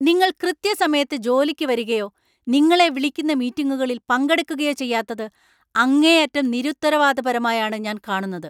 നിങ്ങൾ കൃത്യസമയത്ത് ജോലിക്ക് വരുകയോ നിങ്ങളെ വിളിക്കുന്ന മീറ്റിംഗുകളിൽ പങ്കെടുക്കുകയോ ചെയ്യാത്തത് അങ്ങേയറ്റം നിരുത്തരവാദപരമായാണ് ഞാൻ കാണുന്നത്.